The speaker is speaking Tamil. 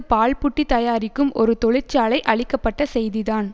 பால் புட்டி தயாரிக்கும் ஒரு தொழிற்சாலை அழிக்க பட்ட செய்திதான்